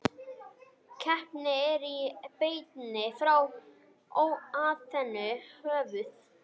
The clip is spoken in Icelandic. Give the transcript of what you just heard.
Keppnin er í beinni frá Aþenu, höfuð